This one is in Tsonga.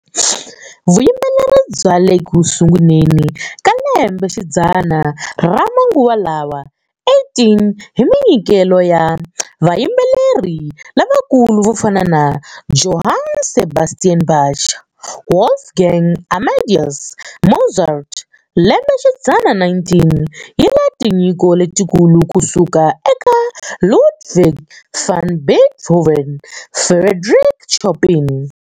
Vuyimbeleri bya le ku sunguleni ka lembexidzana ra manguva lawa 18 hi minyikelo ya vayimbeleri lavakulu vo fana na Johann Sebastian Bach, Wolfgang Amadeus Mozart, lembe xidzana 19 yi na tinyiko letikulu ku suka eka Ludwig van Beethoven, Frédéric Chopin.